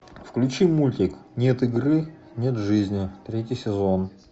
включи мультик нет игры нет жизни третий сезон